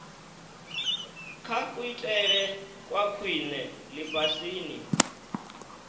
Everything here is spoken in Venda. kha kuitele kwa khwine lifhasini